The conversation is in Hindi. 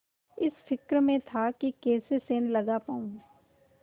इस फिक्र में था कि कैसे सेंध लगा पाऊँ